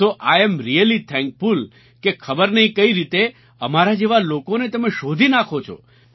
so I'm really thankful કે ખબર નહીં કઈ રીતે અમારા જેવા લોકોને તમે શોધી નાખો છો